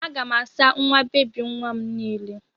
Aga m asa nwa bebi nwa m niile.